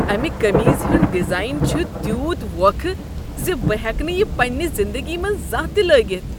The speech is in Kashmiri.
امہ قمیٖضہ ہنٛد ڈیزاین چھ تیوٗت ووکھٕ ز بہٕ ہیکہٕ نہٕ یہ پنٛنہ زندگی منٛز زانٛہہ تہ لٲگتھ۔